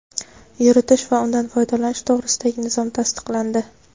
yuritish va undan foydalanish to‘g‘risidagi nizom tasdiqlandi.